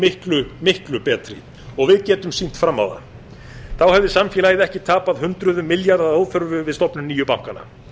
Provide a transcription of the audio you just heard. miklu miklu betri og við getum sýnt fram á það þá hefði samfélagið ekki tapað hundruðum milljarða að óþörfu við stofnun nýju bankanna